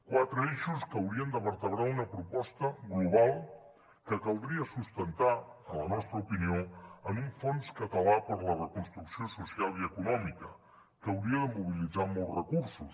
quatre eixos que haurien de vertebrar una proposta global que caldria sustentar en la nostra opinió en un fons català per a la reconstrucció social i econòmica que hauria de mobilitzar molts recursos